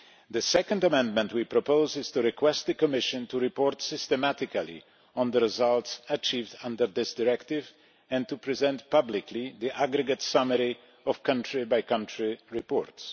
The second amendment we propose is to request the Commission to report systematically on the results achieved under this directive and to present publicly the aggregate summary of country-by-country reports.